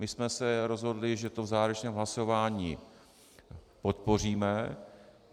My jsme se rozhodli, že to v závěrečném hlasování podpoříme.